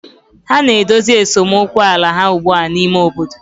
ha na-edozi esemokwu ala ha ugbu a n'ime obodo.